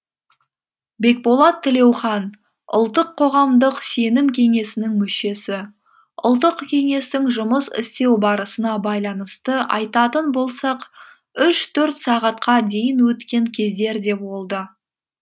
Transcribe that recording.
бекболат тілеухан ұлттық қоғамдық сенім кеңесінің мүшесі ұлттық кеңестің жұмыс істеу барысына байланысты айтатын болсақ үш төрт сағатқа дейін өткен кездер де болды